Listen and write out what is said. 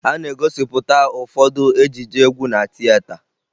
A na-egosipụta ụfọdụ ejije egwu na tieta